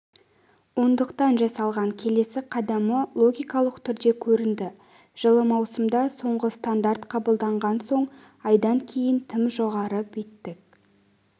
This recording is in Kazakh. ондықтан жасалған келесі қадамы логикалық түрде көрінді жылы маусымда соңғы стандарт қабылдағаннан соң айдан кейін тым жоғары биттік